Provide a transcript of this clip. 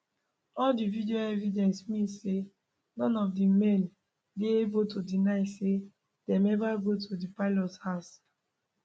all di video evidence mean say none of di men dey able to deny say dem eva go to di pelicots house